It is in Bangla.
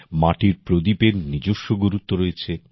মাটির প্রদীপের নিজস্ব গুরুত্ব রয়েছে